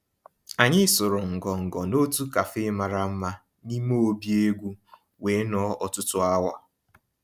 Ànyị́ sụ̀rụ́ ngọngọ́ n'òtù cafe màrà mmá n'ímé òbí égwú wéé nọ̀ọ́ ọ̀tụtụ́ awa.